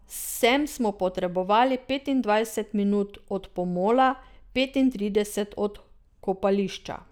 Sem smo potrebovali petindvajset minut od pomola, petintrideset od kopališča.